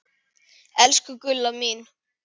Elsku Gulla mín.